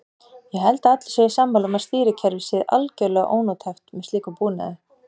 Ég held að allir séu sammála um að stýrikerfið sé algjörlega ónothæft með slíkum búnaði.